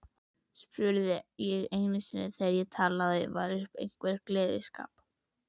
spurði ég einu sinni þegar talað var um einhvern gleðskap.